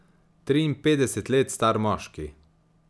Triinpetdeset let star moški.